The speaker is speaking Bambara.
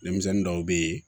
Denmisɛnnin dɔw bɛ ye